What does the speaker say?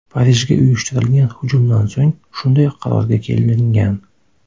Parijga uyushtirilgan hujumdan so‘ng shunday qarorga kelingan.